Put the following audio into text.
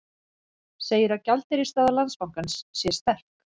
Segir að gjaldeyrisstaða Landsbankans sé sterk